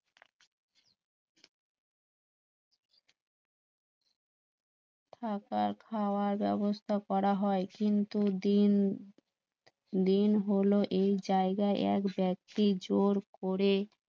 থাকা খাওয়ার ব্যবস্থা করা হয় কিন্তু দিন দিন হলো এই জায়গায় এক ব্যক্তি জোর করে